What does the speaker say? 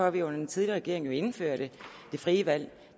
at vi under den tidligere regering indførte det frie valg